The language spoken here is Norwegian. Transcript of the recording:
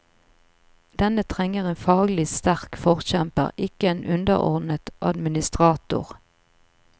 Denne trenger en faglig sterk forkjemper, ikke en underordnet administrator.